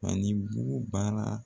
Fanibugu baara